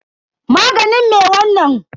Maganin me wanna?